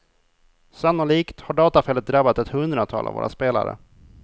Sannolikt har datafelet drabbat ett hundratal av våra spelare.